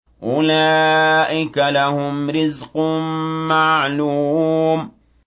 أُولَٰئِكَ لَهُمْ رِزْقٌ مَّعْلُومٌ